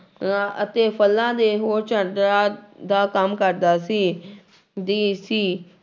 ਆਂ ਅਤੇ ਫਲਾਂ ਦੇ ਹੋਰ ਦਾ ਕੰਮ ਕਰਦਾ ਸੀ ਦੀ ਸੀ।